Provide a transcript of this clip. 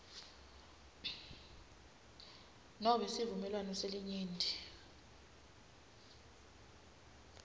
nobe sivumelwano selinyenti